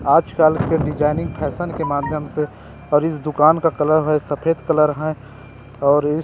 आज कल के डिजाइनिंग फैशन के माध्यम से और इस दुकान का कलर हे सफेद कलर हे और इस --